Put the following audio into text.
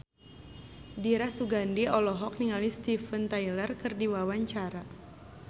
Dira Sugandi olohok ningali Steven Tyler keur diwawancara